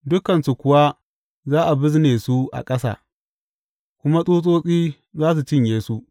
Dukansu kuwa za a bizne su a ƙasa, kuma tsutsotsi za su cinye su.